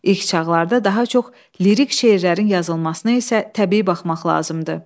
İlk çağlarda daha çox lirik şeirlərin yazılmasına isə təbii baxmaq lazımdır.